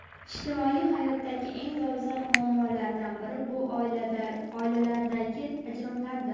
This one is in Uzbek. Ijtimoiy hayotdagi eng dolzarb muammolardan biri bu oilalardagi ajrimlardir.